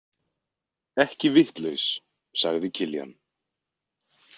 Ekki vitlaus, sagði Kiljan.